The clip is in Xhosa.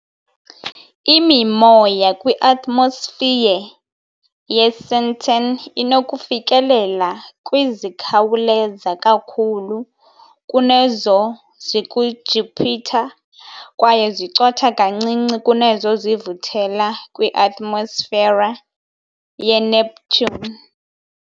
Imimoya kwi-atmosphere yeSenten inokufikelela kwi zikhawuleza kakhulu kunezo zikuJupiter kwaye zicotha kancinci kunezo zivuthela kwi-atmosfera yeNeptune.